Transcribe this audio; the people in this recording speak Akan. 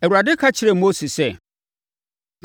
Awurade ka kyerɛɛ Mose sɛ,